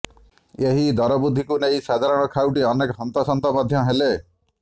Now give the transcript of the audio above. ଏହି ଦରବୃଦ୍ଧିକୁ ନେଇ ସାଧାରଣ ଖାଉଟି ଅନେକ ହନ୍ତସନ୍ତ ମଧ୍ୟ ହେଲେ